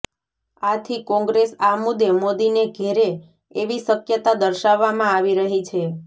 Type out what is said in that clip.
આથી કોંગ્રેસ આ મુદ્દે મોદીને ઘેરે એવી શક્યતા દર્શાવવામાં આવી રહી છે